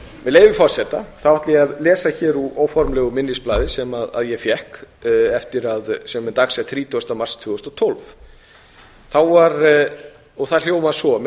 leyfi forseta ætla ég að lesa hér úr óformlegu minnisblaði sem ég fékk sem er dagsett þrítugasta mars tvö þúsund og tólf það hljómar svo með